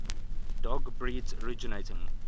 dog breeds originating